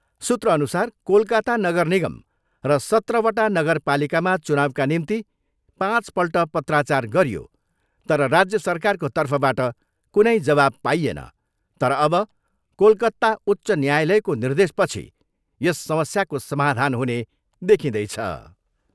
सुत्रअनुसार कोलकाता नगर निगम र सत्रवटा नगरपालिकामा चुनाउका निम्ति पाँचपल्ट पत्राचार गरियो तर राज्य सरकारको तर्फबाट कुनै जवाब पाइएन तर अब कोलकत्ता उच्च न्यायालयको निर्देशपछि यस समस्याको समाधान हुने देखिँदैछ।